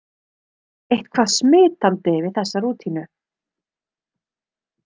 Eitthvað smitandi við þessa rútínu.